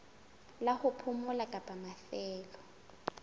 la ho phomola kapa mafelo